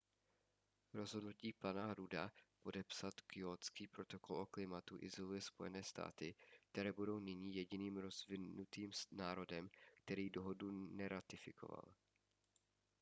rozhodnutí pana rudda podepsat kjótský protokol o klimatu izoluje spojené státy které budou nyní jediným rozvinutým národem který dohodu neratifikoval